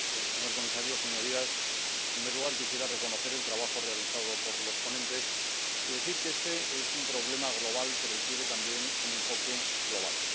Señora presidenta, señor comisario, señorías, en primer lugar, quisiera reconocer el trabajo realizado por los ponentes y decir que este es un problema global que requiere también un enfoque global.